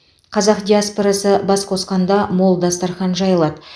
қазақ диаспорасы бас қосқанда мол дастархан жайылады